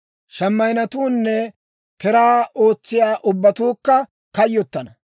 Shimaynnetuunne keraa ootsiyaa ubbatuukka kayyotana.